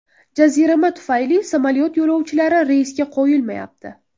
Jazirama tufayli samolyot yo‘lovchilari reysga qo‘yilmayapti.